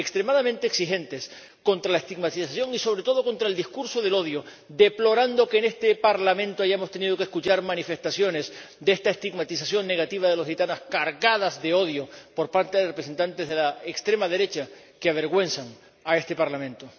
Extremadamente exigentes contra la estigmatización y sobre todo contra el discurso del odio, deplorando que en este Parlamento hayamos tenido que escuchar manifestaciones de esta estigmatización negativa de los gitanos cargadas de odio, por parte de representantes de la extrema derecha, que avergüenzan a este Parlamento.